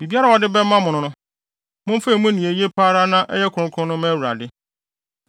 Biribiara a wɔde bɛma mo no, momfa emu nea eye pa ara na ɛyɛ kronkron no mma Awurade.’